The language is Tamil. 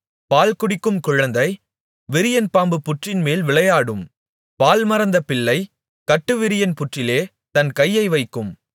பால் குடிக்கும் குழந்தை விரியன்பாம்புப் புற்றின்மேல் விளையாடும் பால் மறந்த பிள்ளை கட்டுவிரியன் புற்றிலே தன் கையை வைக்கும்